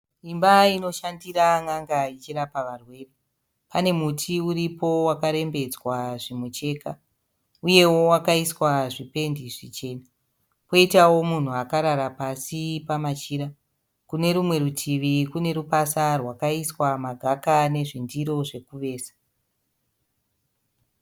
Imba inoshandira n'anga ichirapa varwere. Pane muti uripo wakarembedzwa zvimucheka uyewo wakaiswa zvipendi zvichena. Poitawo munhu akarara pasi pamachira. Kune rumwe rutivi kune rupasa rwakaiswa magaka nezvindiro zvekuveza.